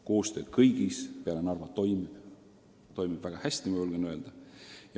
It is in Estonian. Koostöö kõigis peale Narva toimib, ja toimib väga hästi, julgen öelda.